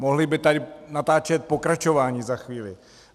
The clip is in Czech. Mohli by tady natáčet pokračování za chvíli.